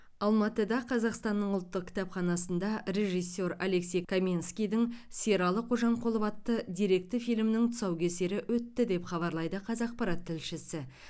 алматыда қазақстанның ұлттық кітапханасында режиссер алексей каменскийдің сералы қожамқұлов атты деректі фильмнің тұсаукесері өтті деп хабарлайды қазақпарат тілшісі